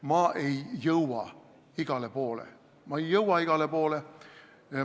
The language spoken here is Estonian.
Ma ei jõua igale poole.